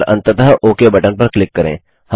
और अंततः OK button पर क्लिक करें